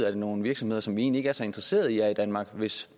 er nogle virksomheder som vi egentlig ikke er så interesserede i er i danmark hvis